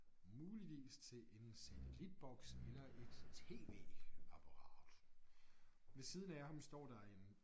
Muligvis til en satellitboks eller et tv-apparat. Ved siden af ham står der en